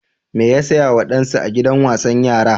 Me ya saya wa ɗansa a gidan wasan yara?